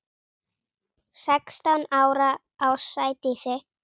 Sextán ára á Sædísi.